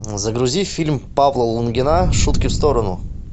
загрузи фильм павла лунгина шутки в сторону